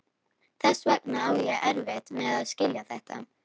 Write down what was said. Þess vegna á ég erfitt með að skilja þetta.